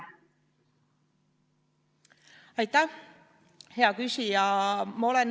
Aitäh, hea küsija!